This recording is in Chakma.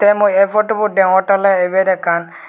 te mui ei potubot deongottey oley ibet ekkan.